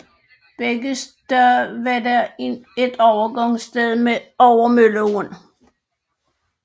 Begge steder var der et overgangssted over Mølleåen